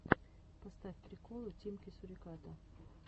поставь приколы тимки суриката